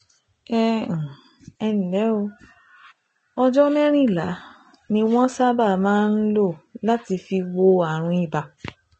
Ẹ um ǹlẹ́ o, ọjọ́ mẹ́rìnlá ni wọ́n sábà máa ń lò láti fi wo ààrùn ibà